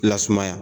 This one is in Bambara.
Lasumaya